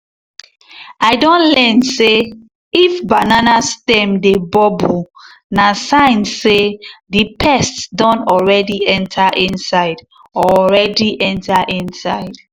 i don learn say if banana stem dey bubble na sign say the pest don already enter inside. already enter inside.